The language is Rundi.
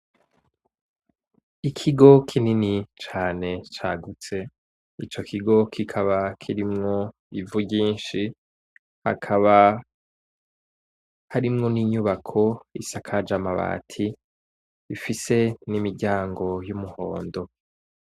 Ikigo kinini cane cagutse, ico kigo kikaba kirimwo ivu ryinshi, hakaba harimwo ni nyubako isakaje amabati, ifise n'imiryango y'umuhondo.